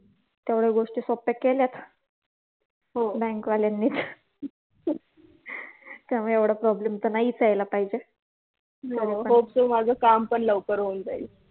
तेवढ्या गोष्टी सोप्या केल्यात बँक वाल्यांनी त्यामुळे एवढा problem तर नाहीच यायला पाहिजे तसं hope so माझं काम पण लवकर होऊन जाईल.